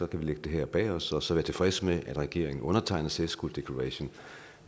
kan lægge det her bag os og så være tilfredse med at regeringen undertegner safe schools declaration